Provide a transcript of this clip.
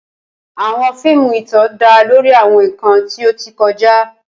Awọn fiimu itan da lori awọn nkan ti o ti kọja.